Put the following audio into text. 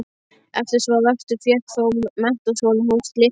Eftir tvo vetur fékk þó Menntaskólinn hús sitt aftur.